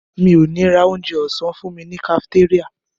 Mi ò ní ra onjẹ ọ̀sán fúnmi ní kafitéríà.